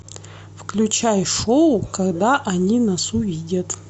включай шоу когда они нас увидят